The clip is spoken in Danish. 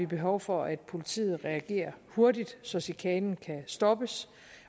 behov for at politiet reagerer hurtigt så chikanen kan stoppes